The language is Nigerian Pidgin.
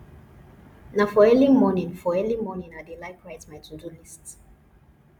na for early morning for early morning i dey like write my todo list